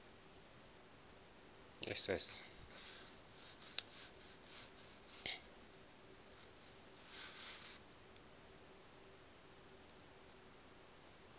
na wa vhuṋa yo ḓa